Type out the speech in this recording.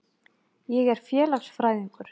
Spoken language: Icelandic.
Ég er félagsfræðingur.